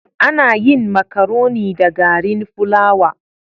Ana yin makaroni da garin fulawa.